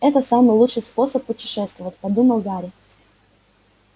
это самый лучший способ путешествовать подумал гарри